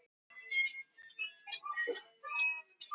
Hér má nefna kvenfélagið Hringinn og Thorvaldsensfélagið sem enn starfa.